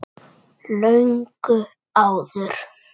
Löngu áður.